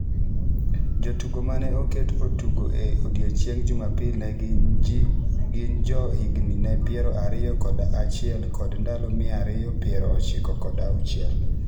Jotugo ma ne oket otugo e odiechieng’ Jumapil ne gin jo higni ne piero ariyo kod achiel kod ndalo mia ariyo piero ochiko kod auchiel .